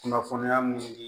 Kunnafoniya mun di